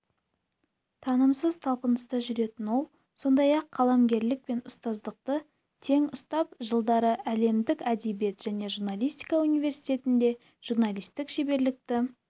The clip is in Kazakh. тынымсыз талпыныста жүретін ол сондай-ақ қаламгерлік пен ұстаздықты тең ұстап жылдары әлемдік әдебиет және журналистика университетінде журналистік шеберлікті